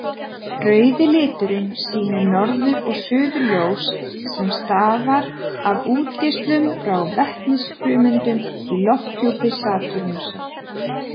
Rauðu liturinn sýnir norður- og suðurljós sem stafa af útgeislun frá vetnisfrumeindum í lofthjúpi Satúrnusar.